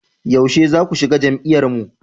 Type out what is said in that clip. Yaushe zaku shiga jam'iyyar mu?